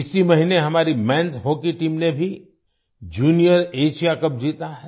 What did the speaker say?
इसी महीने हमारी menएस हॉकी टीम ने भी जूनियर एएसआईए कप जीता है